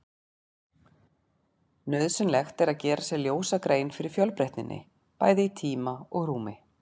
Nauðsynlegt er að gera sér ljósa grein fyrir fjölbreytninni, bæði í tíma og rúmi.